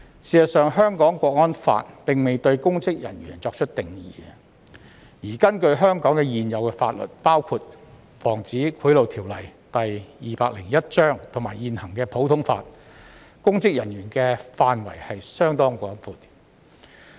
事實上，《香港國安法》並未對公職人員作出定義，而根據香港現有法律，包括《防止賄賂條例》及現行普通法，公職人員的範圍相當廣闊。